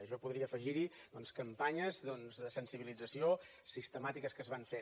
jo podria afegir hi doncs campanyes de sensibilització sistemàtiques que es van fent